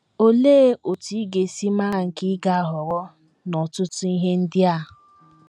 Olee otú ị ga - esi mara nke ị ga - ahọrọ n’ọtụtụ ihe ndị a?